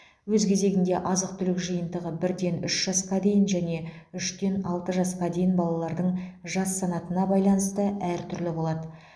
өз кезегінде азық түлік жиынтығы бірден үш жасқа дейін және үштен алты жасқа дейін балалардың жас санатына байланысты әр түрлі болады